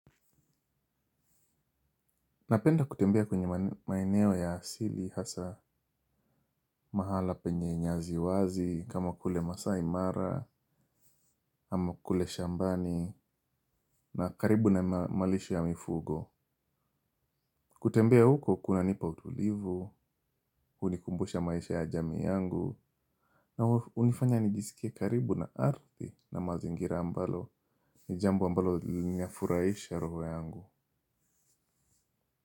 Napenda kutembea kwenye maeneo ya asili hasa mahala penye nyasi wazi, kama kule masai mara, kama kule shambani, na karibu na malisho ya mifugo. Kutembea huko kuna nipa utulivu, unikumbusha maisha ya jamii yangu, na hunifanya nijisikie karibu na ardhi na mazingira ambalo, nijambo ambalo linafurahisha roho yangu.